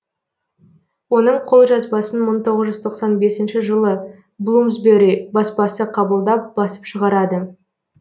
оның қолжазбасын мың тоғыз жүз тоқсан бесінші жылы блумсбе ри баспасы қабылдап басып шығарады